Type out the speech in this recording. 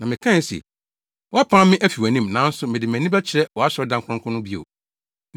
Na mekae se, ‘Woapam me afi wʼanim; nanso mede mʼani bɛkyerɛ wʼasɔredan kronkron no bio’